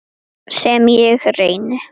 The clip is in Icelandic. Sem ég reyni.